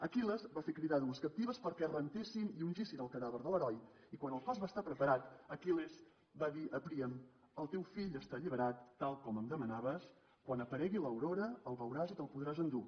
aquil·les va fer cridar dues captives perquè rentessin i ungissin el cadàver de l’heroi i quan el cos va estar preparat aquil·les va dir a príam el teu fill està alliberat tal com em demanaves quan aparegui l’aurora el veuràs i te’l podràs endur